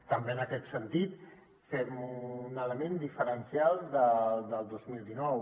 també en aquest sentit fem un element diferencial del dos mil dinou